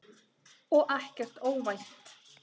Og ekkert óvænt.